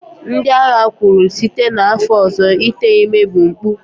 ndị agha kwuru, site n'afọ ọzọ ite ime bụ mpụ